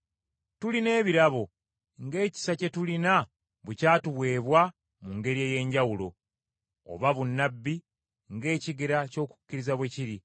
Tulina ebirabo, ng’ekisa kye tulina bwe kyatuweebwa mu ngeri ey’enjawulo, oba bunnabbi, ng’ekigera ky’okukkiriza bwe kiri,